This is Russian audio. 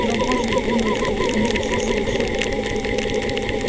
но боже милостивый он же всё слышал